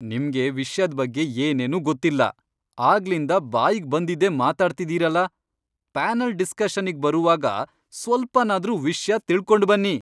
ನಿಮ್ಗೆ ವಿಷ್ಯದ್ ಬಗ್ಗೆ ಏನೇನೂ ಗೊತ್ತಿಲ್ಲ, ಆಗ್ಲಿಂದ ಬಾಯಿಗ್ ಬಂದಿದ್ದೇ ಮಾತಾಡ್ತಿದೀರಲ, ಪ್ಯಾನಲ್ ಡಿಸ್ಕಷನ್ನಿಗ್ ಬರುವಾಗ ಸ್ವಲ್ಪನಾದ್ರೂ ವಿಷ್ಯ ತಿಳ್ಕೊಂಡ್ಬನ್ನಿ.